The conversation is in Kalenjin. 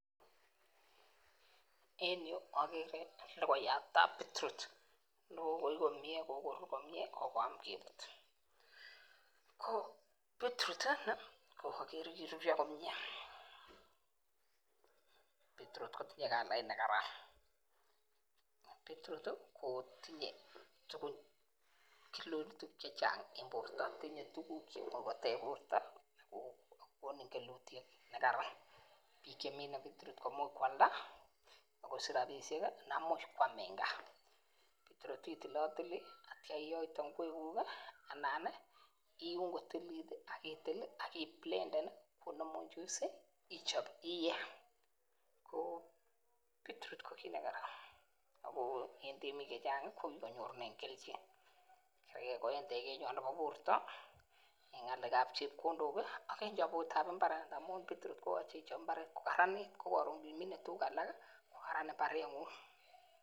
En yu ogeree logoyat ab beetroot nekokoi komie, kokoam kebut. Ko beetroot ini ko agere kiruryoo komie, beetroot kotinye kalait nekaran. Beetroot kotinye kelchinoik chechang en borto, tinye tuguk cheimuch koteeb bortoo.ko konuu kelutiet nekaran. Biik chemise beetroot komuch koaldaa, akosich rabisiek anan komuch koam en gaa. Beetroot itilotilii ak yeityoo iyoitee ingwekuk, anan iun kotililit ak itil i ak iblenden komongu juice ichob iyee. Ko beetroot ko kit nekaran ak bik chechang konyorunen kelchin, kotiengei elekoburtoo en ngalekab chepkondok ak chobet ab imbaar. Amun beetroot koyoche ichob imbaar kokaranit KO koron imine tuguuk alak kokaraan imbarengung.